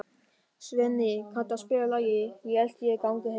Svenni, kanntu að spila lagið „Ég held ég gangi heim“?